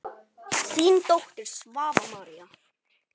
Þín dóttir, Svava María.